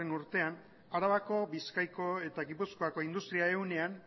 urtean arabako bizkaiko eta gipuzkoako industri ehunean